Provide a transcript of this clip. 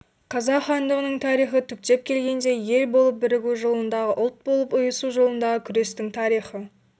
қазақ хандығының тарихы түптеп келгенде ел болып бірігу жолындағы ұлт болып ұйысу жолындағы күрестің тарихы